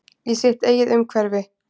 Í sitt eigið umhverfi.